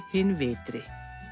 hinn vitri